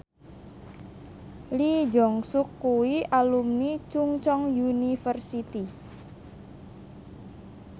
Lee Jeong Suk kuwi alumni Chungceong University